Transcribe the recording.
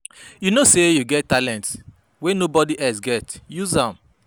You know sey you get talent wey nobod else get, use am.